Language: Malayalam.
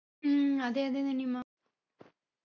ഉം അതെ അതെ നനിമ്മ